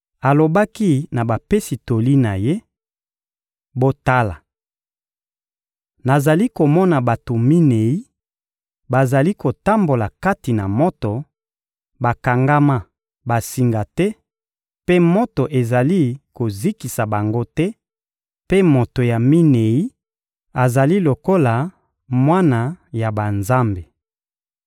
Alobaki na bapesi toli na ye: — Botala! Nazali komona bato minei bazali kotambola kati na moto, bakangama basinga te mpe moto ezali kozikisa bango te; mpe moto ya minei azali lokola mwana ya banzambe.